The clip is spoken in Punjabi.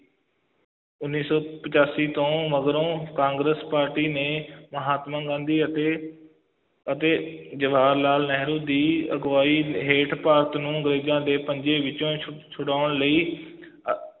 ਉੱਨੀ ਸੌ ਪਚਾਸੀ ਤੋਂ ਮਗਰੋਂ ਕਾਂਗਰਸ ਪਾਰਟੀ ਨੇ ਮਹਾਤਮਾ ਗਾਂਧੀ ਅਤੇ ਅਤੇ ਜਵਾਹਰ ਲਾਲ ਨਹਿਰੂ ਦੀ ਅਗਵਾਈ ਹੇਠ ਭਾਰਤ ਨੂੰ ਅੰਗਰੇਜ਼ਾਂ ਦੇ ਪੰਜੇ ਵਿੱਚੋਂ ਛੁ~ ਛੁਡਾਉਣ ਲਈ ਅਹ